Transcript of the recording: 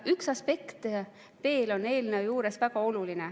Üks aspekt on eelnõu juures veel väga oluline.